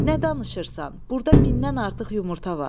Nə danışırsan, burda mindən artıq yumurta var.